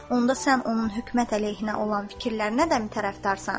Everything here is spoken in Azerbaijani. Onda sən onun hökumət əleyhinə olan fikirlərinə də tərəfdarsan?